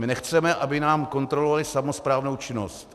My nechceme, aby nám kontrolovali samosprávnou činnost.